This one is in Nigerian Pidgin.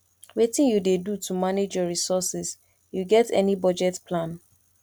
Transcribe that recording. wetin you dey do to manage your resources you get any budget plan